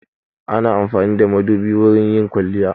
Ana amfani da madubi wurin yin kwaliya.